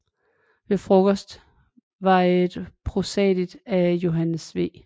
Ved Frokosten er et prosadigt af Johannes V